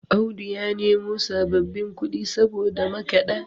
Audu ya nemo sababbin kudi saboda makada